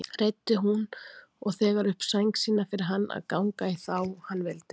Reiddi hún og þegar upp sæng sína fyrir hann að ganga í þá hann vildi.